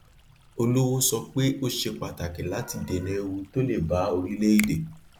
olówó sọ pé ó ṣe pàtàkì láti dènà ewu tó le ba orílẹèdè